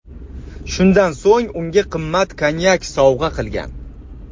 Shundan so‘ng unga qimmat konyak sovg‘a qilgan.